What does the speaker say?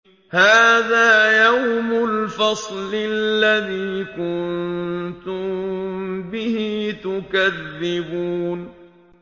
هَٰذَا يَوْمُ الْفَصْلِ الَّذِي كُنتُم بِهِ تُكَذِّبُونَ